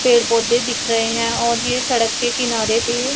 पेड़ पौधे दिख रहे हैं और ये सड़क के किनारे पे--